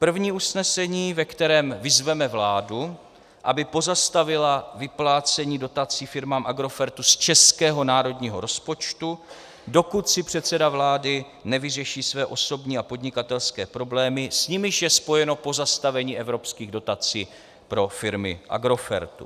První usnesení, ve kterém vyzveme vládu, aby pozastavila vyplácení dotací firmám Agrofertu z českého národního rozpočtu, dokud si předseda vlády nevyřeší své osobní a podnikatelské problémy, s nimiž je spojeno pozastavení evropských dotací pro firmy Agrofertu.